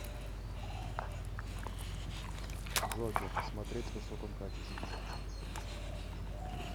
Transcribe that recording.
джокер смотреть в высоком качестве